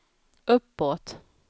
uppåt